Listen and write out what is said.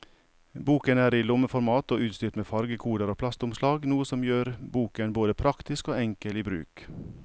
Boken er i lommeformat og utstyrt med fargekoder og plastomslag, noe som gjør boken både praktisk og enkel i bruk.